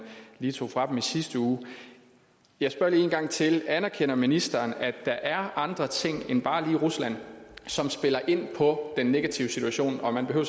lige tog fra dem i sidste uge jeg spørger lige en gang til anerkender ministeren at der er andre ting end bare lige rusland som spiller ind på den negative situation og man behøver